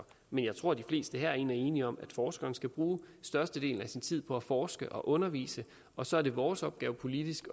men jeg tror de fleste herinde er enige om at forskeren skal bruge størstedelen af sin tid på at forske og undervise og så er det vores opgave politisk